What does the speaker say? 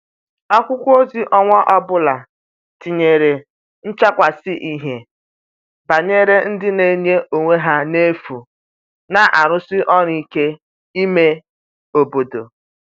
akwụkwo ozi onwa ọbụla tinyere nchakwasi ihie gbanyere ndi n'enye onwe ha n'efu n'arusi ọru ike ime obodo